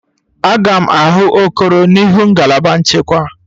Aga m ahụ Okoro n'ihu ngalaba nchekwa.